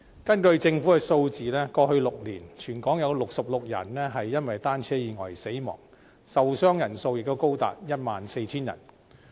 根據政府的數字，過去6年，全港有66人因單車意外死亡，受傷人數也高達 14,000 人。